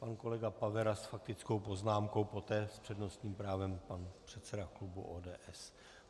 Pan kolega Pavera s faktickou poznámkou, poté s přednostním právem pan předseda klubu ODS.